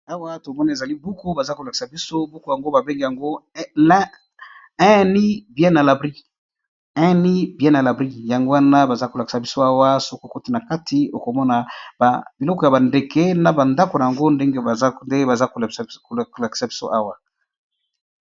Awa tomone ezali buku baza kolakisa biso buku yango babenge yango un nid bien a labri yango wana baza kolakisa biso awa soki okoti na kati okomona biloko ya ba ndeke na ba ndako ndenge bazo lakisa biso awa.